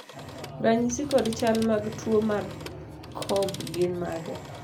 ranyisi kod chal mag tuo mar Cobb gin mage?